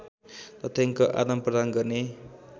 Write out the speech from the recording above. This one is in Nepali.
तथ्याङ्क आदानप्रदान गर्ने